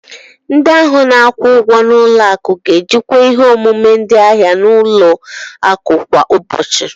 Ndị ahụ na-akwụ ụgwọ n'ụlọ akụ ga-ejikwa ihe omume ndị ahịa n'ụlọ akụ kwa ụbọchị.